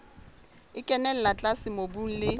e kenella tlase mobung le